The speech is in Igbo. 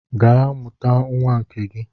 Gaa mụta nwa nke gị!